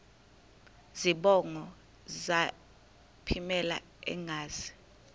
zibongo zazlphllmela engazi